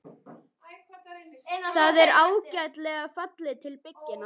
Það er ágætlega fallið til bygginga.